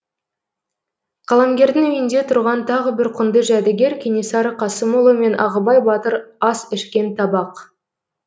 қаламгердің үйінде тұрған тағы бір құнды жәдігер кенесары қасымұлы мен ағыбай батыр ас ішкен табақ